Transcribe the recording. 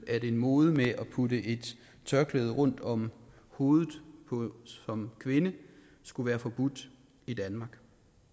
at en mode med at putte et tørklæde rundt om hovedet som kvinde skulle være forbudt i danmark